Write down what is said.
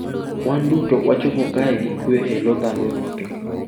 "Wan duto wachopo kae gi kwe e lo dhano duto."""